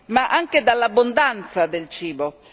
ma anche dall'abbondanza di cibo.